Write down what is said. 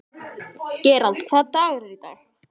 Gerald, hvaða dagur er í dag?